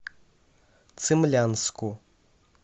цимлянску